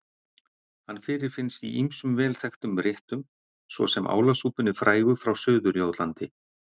Hann fyrirfinnst í ýmsum vel þekktum réttum svo sem álasúpunni frægu frá Suður-Jótlandi.